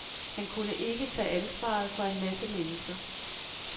Han kunne ikke tage ansvaret for en masse mennesker.